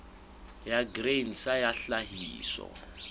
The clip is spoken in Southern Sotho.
ya grain sa ya tlhahiso